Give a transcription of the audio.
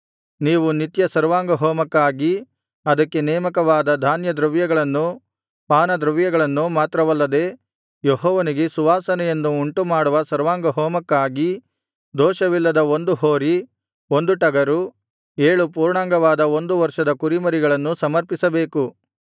ನೀವು ನಿತ್ಯ ಸರ್ವಾಂಗಹೋಮಕ್ಕಾಗಿ ಅದಕ್ಕೆ ನೇಮಕವಾದ ಧಾನ್ಯದ್ರವ್ಯಗಳನ್ನೂ ಪಾನದ್ರವ್ಯಗಳನ್ನೂ ಮಾತ್ರವಲ್ಲದೆ ಯೆಹೋವನಿಗೆ ಸುವಾಸನೆಯನ್ನು ಉಂಟುಮಾಡುವ ಸರ್ವಾಂಗಹೋಮಕ್ಕಾಗಿ ದೋಷವಿಲ್ಲದ ಒಂದು ಹೋರಿ ಒಂದು ಟಗರು ಏಳು ಪೂರ್ಣಾಂಗವಾದ ಒಂದು ವರ್ಷದ ಕುರಿಮರಿಗಳನ್ನೂ ಸಮರ್ಪಿಸಬೇಕು